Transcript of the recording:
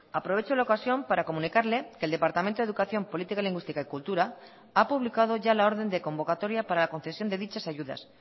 aprovecho la ocasión para comunicarle que el departamento de educación política lingüística y cultura ha publicado ya la orden de convocatoria para la concesión de dichas ayudas